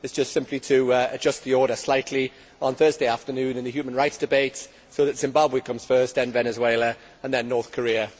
It is just simply to adjust the order slightly on Thursday afternoon in the human rights debate so that Zimbabwe comes first, then Venezuela and then North Korea.